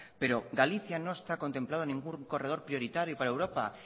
pero galicia no está contemplado en ningún corredor prioritario para europa